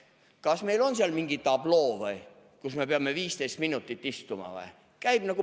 Kas meil on seal mingi tabloo, et me peame 15 minutit istuma?